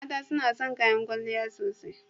Mata suna son kayan kwalliya sosai.